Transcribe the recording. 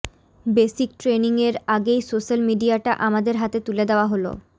basic ট্রেনিংয়ের আগেই social মিডিয়াটা আমাদের হাতে তুলে দেওয়া হল